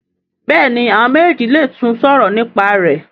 Béèni àwọn méjèjì lè tún sòrò nípa rẹ.